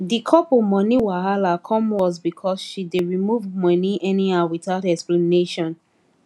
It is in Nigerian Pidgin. the couple money wahala come worse because she dey remove money anyhow without explanation